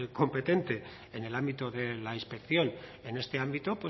competente en el ámbito de la inspección en este ámbito